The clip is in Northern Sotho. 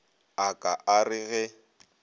a ka a re ge